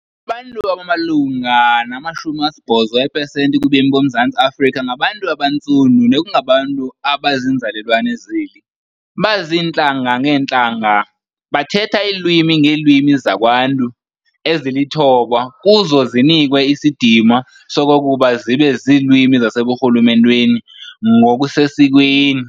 Abantu abamalunga nama-80 eepesenti kubemi boMzantsi Afrika ngabantu abantsundu nekungabantu abaziinzalelwane zeli, baziintlanga-ngeentlanga, bathetha iilwimi-ngeelwimi zakwaNtu, eziluthoba kuzo zinikwe isidima sokokuba zibe ziilwimi zaseburhulumenteni ngokusesikweni.